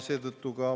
Ei.